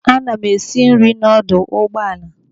Ana m esi nri n'ọdọ ụgbọala.